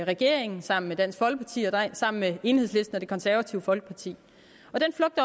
regeringen sammen med dansk folkeparti og sammen med enhedslisten og det konservative folkeparti